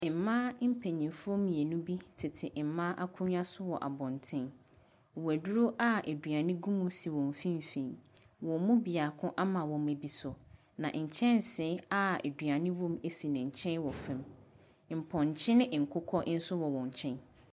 Mmaa mpanimfo mmienu bi tete mmaa akonnwa so wɔ abɔnten. Wɔduro a aduane gu si wɔn mfimfin, wɔn mu baako ama wɔmma bi so. Na nkyɛnse a aduane wɔ mu si ne nkyɛn wɔ fam. Mpɔnkye ne nkokɔ nso wɔ wɔn nkyɛn.